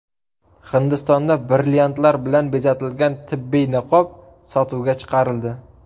Hindistonda brilliantlar bilan bezatilgan tibbiy niqob sotuvga chiqarildi.